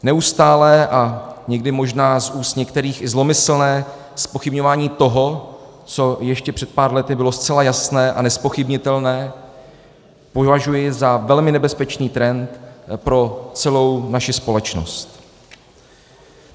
Neustále a někdy možná z úst některých i zlomyslné zpochybňování toho, co ještě před pár lety bylo zcela jasné a nezpochybnitelné, považuji za velmi nebezpečný trend pro celou naši společnost.